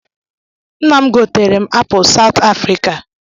Nna m goteerem apụl Saụt Afrịka.